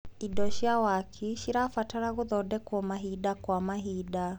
Indo cia waki cirabatara gũthondekwo mahinda kwa mahinda.